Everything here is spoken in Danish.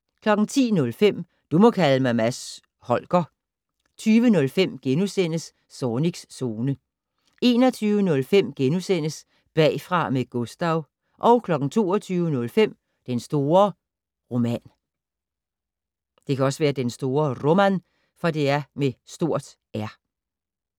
10:05: Du må kalde mig Mads Holger 20:05: Zornigs Zone * 21:05: Bagfra med Gustav * 22:05: Den store Roman